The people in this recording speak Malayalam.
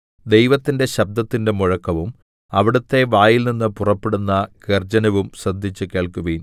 ദൈവത്തിന്റെ ശബ്ദത്തിന്‍റെ മുഴക്കവും അവിടുത്തെ വായിൽനിന്ന് പുറപ്പെടുന്ന ഗർജ്ജനവും ശ്രദ്ധിച്ചുകേൾക്കുവിൻ